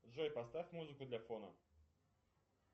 джой поставь музыку для фона